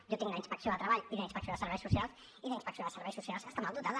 jo tinc la inspecció de treball i la inspecció de serveis socials i la inspecció de serveis socials està mal dotada